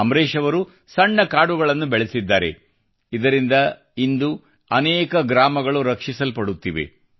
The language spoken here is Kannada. ಅಮ್ರೆಶ್ ಅವರು ಸಣ್ಣ ಕಾಡುಗಳನ್ನು ಬೆಳೆಸಿದ್ದಾರೆ ಇದರಿಂದ ಇಂದು ಅನೇಕ ಗ್ರಾಮಗಳು ರಕ್ಷಿಸಲ್ಪಡುತ್ತಿವೆ